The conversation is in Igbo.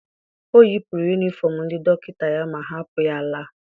O yipụrụ yunifọm ndị dọkịta ya ma hapụ ya laa.